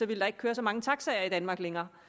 ville der ikke køre så mange taxaer i danmark længere